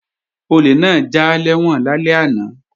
Olè náà já lẹ́wọ̀n lálẹ́ àná